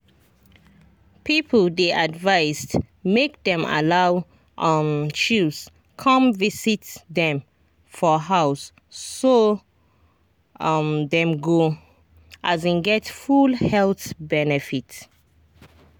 people dey advised make dem allow um chws come visit dem for house so um dem go um get full health benefit.